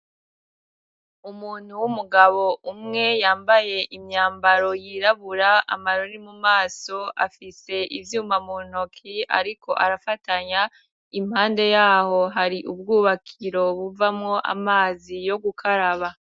Umuntu w'umugabo umwe, yambaye imyambaro yirabura, amarori mu maso, afise ivyuma mu ntoki ariko arafatanya, impande yaho hari ubwubakiro buvamo amazi yo gukaraba.